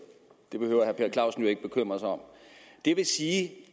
det behøver herre per clausen jo ikke bekymre sig om jeg vil sige